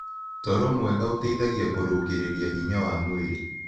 Toro mwega ũteĩthagĩa kũrũngĩrĩrĩa hinya wa mwĩrĩ